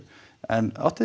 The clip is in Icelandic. en áttið